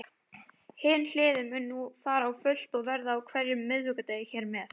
Hin hliðin mun nú fara á fullt og verða á hverjum miðvikudegi hér með.